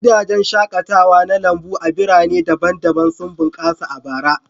Gidajen shaƙatawa na lambu a birane daban-daban sun bunƙasa a bara.